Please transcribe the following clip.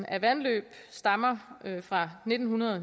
af vandløb stammer fra nitten